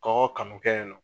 Kɔgɔ kanu kɛ .